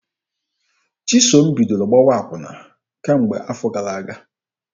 Chisom bidoro gbawa akwụna kemgbe afọ gara aga.